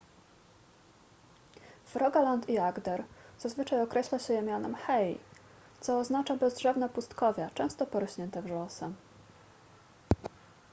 w rogaland i agder zazwyczaj określa się je mianem hei co oznacza bezdrzewne pustkowia często porośnięte wrzosem